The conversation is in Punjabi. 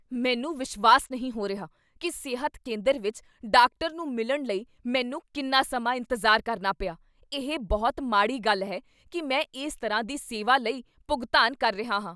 ਮੈਨੂੰ ਵਿਸ਼ਵਾਸ ਨਹੀਂ ਹੋ ਰਿਹਾ ਕੀ ਸਿਹਤ ਕੇਂਦਰ ਵਿੱਚ ਡਾਕਟਰ ਨੂੰ ਮਿਲਣ ਲਈ ਮੈਨੂੰ ਕਿੰਨਾ ਸਮਾਂ ਇੰਤਜ਼ਾਰ ਕਰਨਾ ਪਿਆ! ਇਹ ਬਹੁਤ ਮਾੜੀ ਗੱਲ ਹੈ ਕੀ ਮੈਂ ਇਸ ਤਰ੍ਹਾਂ ਦੀ ਸੇਵਾ ਲਈ ਭੁਗਤਾਨ ਕਰ ਰਿਹਾ ਹਾਂ।"